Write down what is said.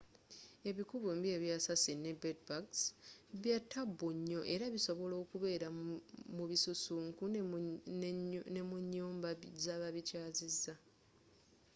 ebiku byombi ebya assasin ne bed-bugs byatabu nyoo era bisobola okubeera mubisusunku nemunyumba zababikyazizza